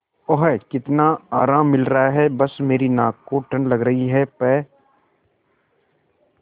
ओह कितना आराम मिल रहा है बस मेरी नाक को ठंड लग रही है प्